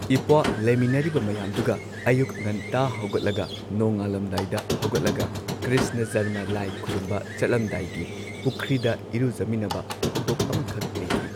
ꯏꯄ꯭ꯋꯥ ꯂꯩꯃꯤꯟꯅꯔꯤꯕ ꯃꯌꯥꯝꯗꯨꯒ ꯑꯌꯨꯛ ꯉꯟꯇꯥ ꯍꯧꯒꯠꯂꯒ ꯅꯣꯡꯉꯥꯜꯂꯝꯗꯥꯏꯗ ꯍꯧꯒꯠꯂꯒ ꯀ꯭ꯔꯤꯁꯅ ꯖꯔꯃ ꯂꯥꯏ ꯈꯨꯔꯨꯝꯕ ꯆꯠꯂꯝꯗꯥꯏꯒꯤ ꯄꯨꯈ꯭ꯔꯤꯗ ꯏꯔꯨꯖꯃꯤꯟꯅꯕ ꯊꯧꯗꯣꯛ ꯑꯃꯈꯛ ꯂꯩꯈꯤ